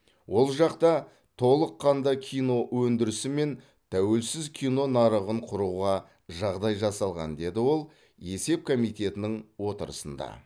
ол жақта толыққанды кино өндірісі мен тәуелсіз кино нарығын құруға жағдай жасалған деді ол есеп комитетінің отырысында